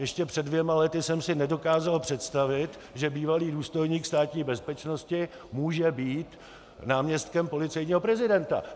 Ještě před dvěma lety jsem si nedokázal představit, že bývalý důstojník Státní bezpečnosti může být náměstkem policejního prezidenta.